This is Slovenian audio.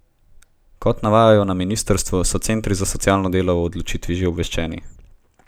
Kot navajajo na ministrstvu, so centri za socialno delo o odločitvi že obveščeni.